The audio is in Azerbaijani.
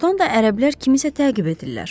Doğrudan da ərəblər kimisə təqib edirlər.